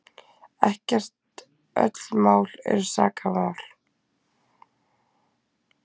Ekkert öll mál eru sakamál.